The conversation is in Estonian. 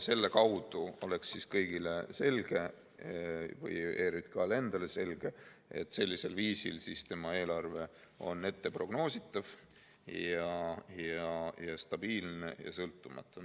Selle kaudu oleks kõigile ja ERJK‑le endale selge, et sellisel viisil on tema eelarve prognoositav, stabiilne ja sõltumatu.